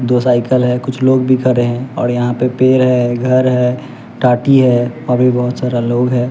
दो साइकल है कुछ लोग भी खड़े हैं और यहां पे पेड़ है घर है टाटी है और भी बहोत सारा लोग है।